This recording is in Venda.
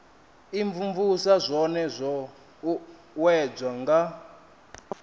imvumvusa zwone zwo uuwedzwa nga